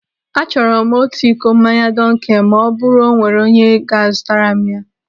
Achọrọ m otu iko mmanya dunkel ma ọ bụrụ o nwere onye ga a zụtara m ya.